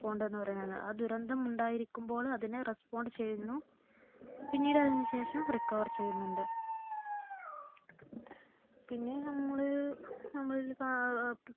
Respond എന്ന് പറയുന്നത്. ദുരന്തം ഉണ്ടായിരിക്കുമ്പോൾ അതിനെ respond ചെയ്യുന്നു, പിന്നീട് അതിനു ശേഷം recover ചെയ്യുന്നുണ്ട് പിന്നെ നമ്മൾ നമ്മളിൽ അഹ്